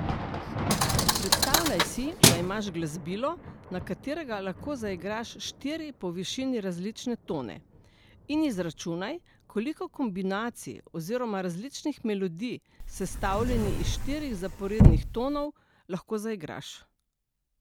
Predstavljaj si, da imaš glasbilo, na katerega lahko zaigraš štiri po višini različne tone, in izračunaj, koliko kombinacij oziroma različnih melodij, sestavljenih iz štirih zaporednih tonov, lahko zaigraš.